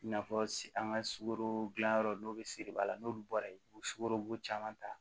I n'a fɔ an ka sukaro dilanyɔrɔ n'o bɛ se de b'a la n'olu bɔra yen u bɛ sukoro caman ta